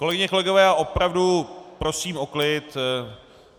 Kolegyně, kolegové, já opravdu prosím o klid.